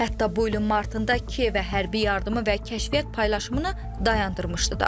Hətta bu ilin martında Kiyevə hərbi yardımı və kəşfiyyat paylaşımını dayandırmışdı da.